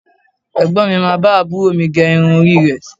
Ẹ̀gbọ́n mi máa bá àbúrò mi gé irun orí rẹ̀